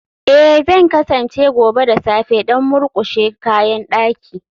Ee, Zan kasance gobe da safe don murƙushe kayan daki